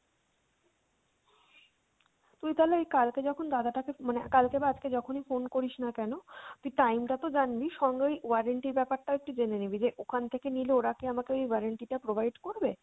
তুই তাহলে এই কালকে যখন দাদাটা কে মানে কালকে বা আজকে যখনি phone করিসনা কেন তুই time টা তো জানবি সঙ্গে ওই warranty র ব্যাপারটা একটু জেনে নিবি যে ওখান থেকে নিলে ওরা কি আমাকে ওই warranty টা provide করবে?